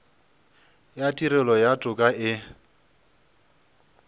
ya tirelo ya toka e